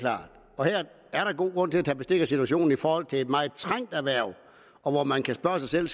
her er der god grund til at tage bestik af situationen i forhold til et meget trængt erhverv og man kan spørge sig selv